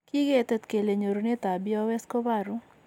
Kiketet kele nyorunetab BOS kobaru